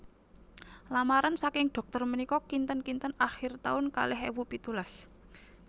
Lamaran saking dokter menika kinten kinten akhir taun kalih ewu pitulas